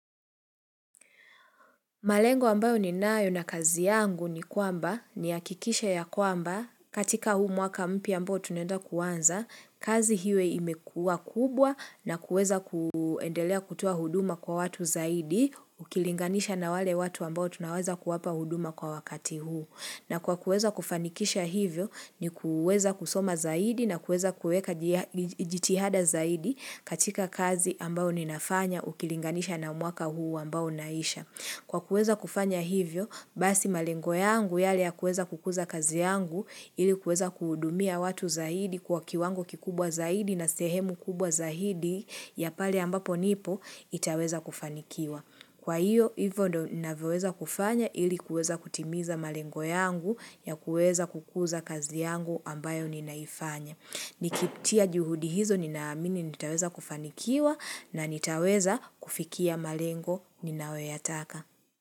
Malengo ambayo ninayo na kazi yangu ni kwamba nihakikishe ya kwamba katika huu mwaka mpya ambao tunaenda kuanza, kazi iwe imekua kubwa na kuweza kuendelea kutoa huduma kwa watu zaidi ukilinganisha na wale watu ambao tunaweza kuwapa huduma kwa wakati huu. Na kwa kuweza kufanikisha hivyo ni kuweza kusoma zaidi na kuweza kueka jia jitihada zaidi katika kazi ambao ninafanya ukilinganisha na mwaka huu ambao unaisha. Kwa kueza kufanya hivyo, basi malengo yangu yale ya kuweza kukuza kazi yangu ili kueza kuhudumia watu zaidi kwa kiwango kikubwa zaidi na sehemu kubwa zaidi ya pale ambapo nipo itaweza kufanikiwa. Kwa hiyo, hivyo ndo ninavyoweza kufanya ili kuweza kutimiza malengo yangu ya kueza kukuza kazi yangu ambayo ninaifanya. Nikitia juhudi hizo ninaamini nitaweza kufanikiwa na nitaweza kufikia malengo ninayoyataka.